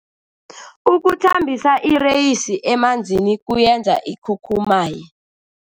Ukuthambisa ireyisi emanzini kuyenza ikhukhumaye.